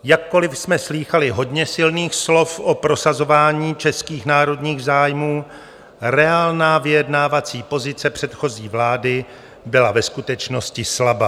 Jakkoli jsme slýchali hodně silných slov o prosazování českých národních zájmů, reálná vyjednávací pozice předchozí vlády byla ve skutečnosti slabá.